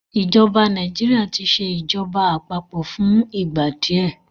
ìjọba Nàìjíríà tí ṣe ìjọba àpapọ̀ fún ìgbà díẹ